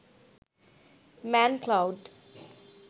manned cloud